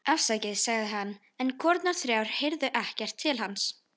Afsakið, sagði hann, en konurnar þrjár heyrðu ekki til hans.